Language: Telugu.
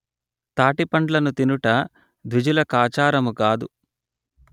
తాటి పండ్లను తినుట ద్విజులకాచరము గాదు